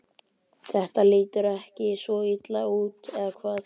Þetta lítur ekki svo illa út, eða hvað?